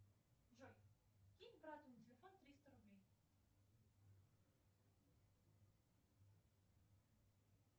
джой кинь брату на телефон триста рублей